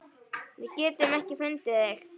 Við getum ekki fundið þig.